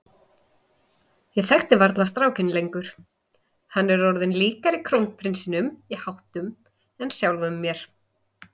Ég þekki varla strákinn lengur, hann er orðinn líkari krónprinsinum í háttum en sjálfum mér.